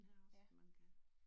Ja